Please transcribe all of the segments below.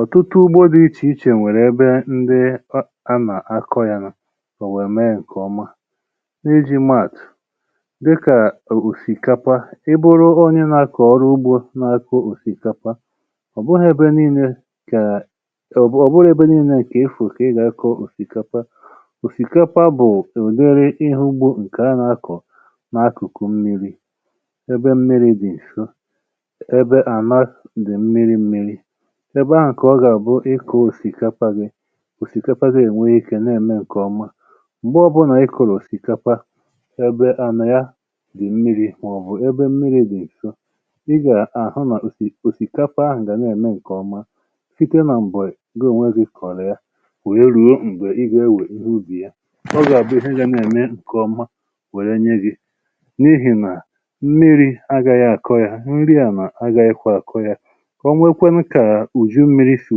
Ọtụtụ ugbȯ dị ichè ichè nwèrè ebe ndị ọ ka nà-akọ̇ ya nọ̀ o wèe mee ǹkè ọma. N’iji maàtụ̀ dịkà o òsìkapa. ḷbụ̇rụ onye na-akọ̀ ọrụ ugbȯ na-akọ̇ òsìkapa, ọ̀ bụghị̇ ebe nii̇nė kà ọ̀bụ ọ̀bụghụ ebe nii̇nė kà ịfụ̀ kà ị gà-akọ̀ òsìkapa. Osìkapa bụ̀ ụ̀dịrị ịhụ̇ ugbȯ ǹkè a nà-akọ̀ n’akùkù mmiri̇, ebe mmiri̇ dị̀ ǹso ebe ànàs dị̀ mmiri̇ mmiri̇. Ebe ahụ̀ ka ọ gà àbụ ịkọ̇ òsìkapa gị, òsìkapa gị ènwe ikė na-ème ǹkè ọma. Mgbe ọbụnà ịkụlụ̀ òsìkapa ebe ànà ya dị̀ mmiri̇ mà ọbụ̀ ebe mmiri̇ dị̀ nso, i gà-àhụ nà òsì òsìkapa ahụ̀ gà na-ème ǹkè ọma site nà m̀bọị̀ gị̀ onwe gị̀ kọ̀ọ̀ ya wèe ruo m̀gbè ị gà-ewè ihe ubì ya ọ gà-àbụ ihe ga na-ème ǹkè ọma wère nye gị n’ihì nà mmiri̇ agȧghị̀ àkọ ya, nri ànà agȧghị̀ kwa àkọ ya. O nwekwanụ ka ùju mmiri̇ sì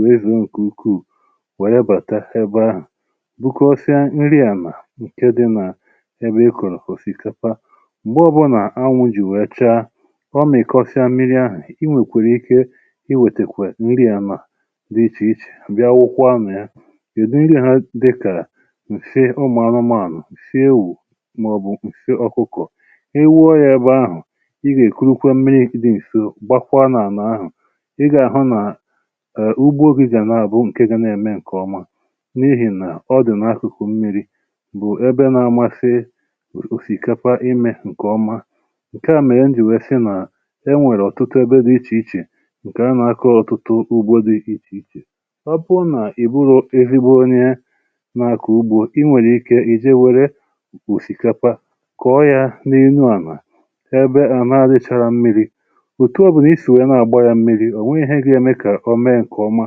wèe zoo ǹkè ukwuù wèrè bàta ebe ahụ̀ bụkọọsịa nri ànà ǹke dị nà ebe ị kọ̀rọ̀ osìkapa, m̀gbe ọbụnà anwụ̇ jì wee chaa ọ mìkọsịa mmiri̇ ahụ̀ i nwèkwèrè ike i wètèkwè nri ànà dị ichè ichè bịa wụkwaa na ya. Udị nri ha dịkà ǹsị ụmụ̀ anụmanụ, ǹsị ewù mà ọ̀bù ǹsị ọkụkọ̀. ḷ wụọ yȧ ebe ahụ̀ ị gà èkurukwa mmiri̇ dị ǹso gbakwa n’àlà ahụ̀ ị gà àhụ nà {e} ùgbo gị gà n’àbụ ǹke ga n’ème ǹkè ọma n’ihì nà ọ dị̀ n’akụ̀kụ̀ mmiri̇ bụ̀ ebe na-amasị òsì òsìkepa imė ǹkè ọma. Nke à mèrè m jì wèè sị nà enwèrè ọ̀tụtụ ebe dị ichè ichè ǹkè anà-akọ̀ ọ̀tụtụ ugbȯ dị ichè ichè. Ọ bụrụ nà ị bụghị oke ezigbo onye n’àkọ ugbo, i nwèrè ike ì je wère osìkapa kọọ yȧ n’elu àlà ebe àla richara mmiri̇. Otu ọ̇bụ̀ n’isi wèe na-àgba ya mmiri̇, onweghi ihe ga eme ka omee nke ọma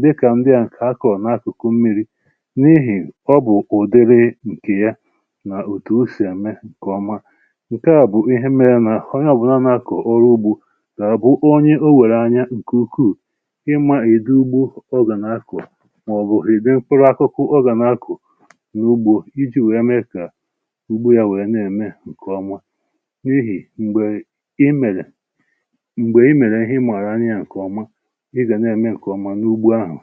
dịkà ndị à nkè akọ̀ n’akụ̀kụ̀ mmiri n’ihì ọ bụ̀ ụ̀dịrị ǹkè ya nà òtù o sì ème ǹkè ọma. Nke à bụ̀ ihe mėrė nà ọnye ọ̀bụla n’akọ̀ ọrụ ugbȯ gà àbụ̀ onye o wèrè anya ǹkè ukwuù ịma ụdị ugbo ọ gà n’akọ̀ mà ọ̀ bụ̀ ị̀dị efere àkụkụ ọ gà n’akọ̀ n’ugbȯ iji̇ wèe mee kà ugbo yȧ wèe na-ème ǹkè ọma. N’ihì m̀gbè i mèrè m̀gbè i mèrè ihe ịmàarà anyị́ ya ǹkèọma, ị ga n’eme ǹkèọ̀mà n’ugbọ ahụ̀